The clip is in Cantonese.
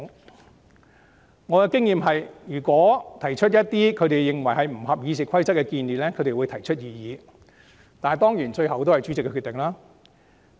以我的經驗，如議員提出一些他們認為不符《議事規則》的做法或建議，他們會提出異議，當然最終由主席作出決定。